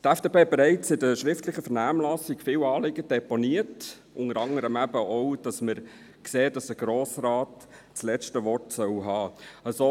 Die FDP hat bereits in der schriftlichen Vernehmlassung viele Anliegen deponiert, unter anderem eben auch, dass wir sehen, dass der Grosse Rat das letzte Wort haben soll.